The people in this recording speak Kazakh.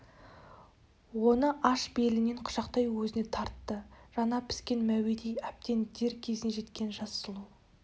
оны аш белінен құшақтай өзіне тартты жаңа піскен мәуедей әбден дер кезіне жеткен жас сұлу